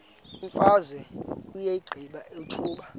imfazwe uyiqibile utshaba